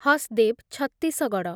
Hasdeo, Chhattisgarh